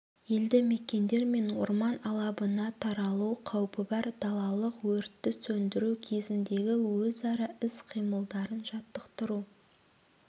елді мекендер мен орман алабына таралу қаупі бар далалық өртті сөндіру кезіндегі өзара іс-қимылдарын жаттықтыру